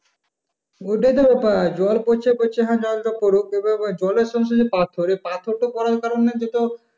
ওইডাই তো ব্যাপার জল পড়ছে পড়ছে জলটা পড়ুক এবার জলের সঙ্গে সঙ্গে পাথর এবার পাথর পড়ার কারণে সে তো,